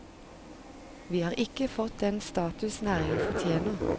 Vi har ikke fått den status næringen fortjener.